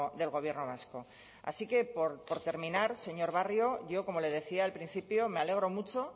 del gobierno vasco así que por terminar señor barrio yo como le decía al principio me alegro mucho